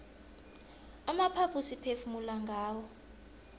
amaphaphu siphefumula ngawo